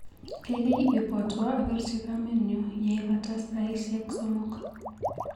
Kaikai ibwatwa apirchi kamenyu yeibata saisiwek sosom.